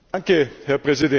Herr Präsident!